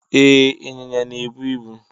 E, ịnyịnya na-ebu ibu.